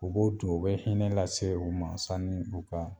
O b'o ton o bɛ hinɛ lase u ma sani u ka